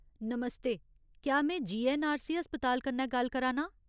नमस्ते ! क्या में जीऐन्नआरसी अस्पताल कन्नै गल्ल करा नां ?